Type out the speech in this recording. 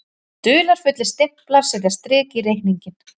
Dularfullir stimplar setja strik í reikninginn